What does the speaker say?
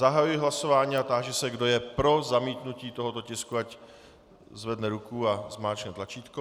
Zahajuji hlasování a táži se, kdo je pro zamítnutí tohoto tisku, ať zvedne ruku a zmáčkne tlačítko.